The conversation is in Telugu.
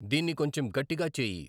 దీన్ని కొంచెం గట్టిగా చేయి